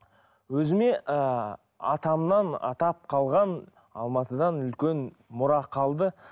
өзіме і атамнан атап қалған алмадытан үлкен мұра қалды